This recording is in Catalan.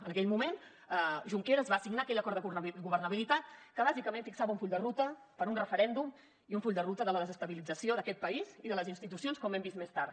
en aquell moment junqueras va signar aquell acord de governabilitat que bàsicament fixava un full de ruta per a un referèndum i un full de ruta de la desestabilització d’aquest país i de les institucions com hem vist més tard